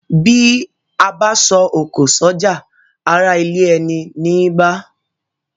Bí abá so òkò sọ́jà ará ilé eni ní bá